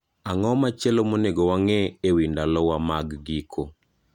Ang'o machielo monego wang'e e wi ndalowa mag giko?